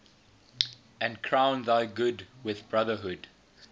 and crown thy good with brotherhood